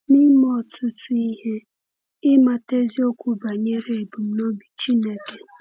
N’ime ọtụtụ ihe, ịmata eziokwu banyere ebumnobi Chineke.